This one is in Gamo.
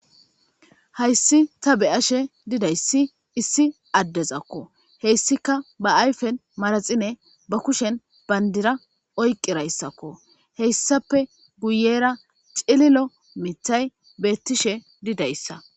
Hayssi ta beyashe didayssi issi addezakko heyssika ba ayfen maraxine ba kushen bayndira oyqirayssakko heyssape guyera xililo mithay beettishe didayssa